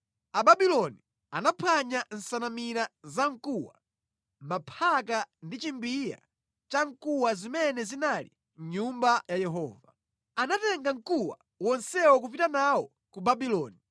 Ababuloni anaphwanya nsanamira za mkuwa, maphaka ndi chimbiya chamkuwa zimene zinali mʼNyumba ya Yehova. Anatenga mkuwa wonsewo nʼkupita nazo ku Babuloni.